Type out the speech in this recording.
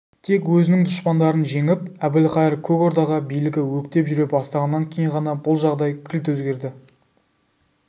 тек өзінің дұшпандарын жеңіп әбілқайыр көк ордаға билігі өктеп жүре бастағаннан кейін ғана бұл жағдай кілт өзгерді